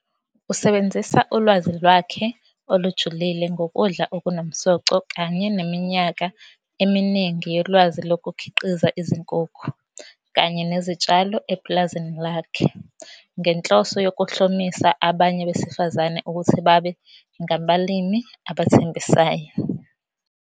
Usebenzisa ulwazi lwakhe olujulile ngokudla okunomsoco kanye neminyaka eminingi yolwazi lokukhiqiza izinkukhu kanye nezitshalo epulazini lakhe ngenhloso yokuhlomisa abanye besifazane ukuthi babe ngabalimi abathengisayo.